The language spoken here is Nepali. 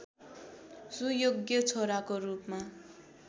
सुयोग्य छोराको रूपमा